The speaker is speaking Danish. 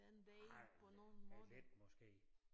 Ej men ja lidt måske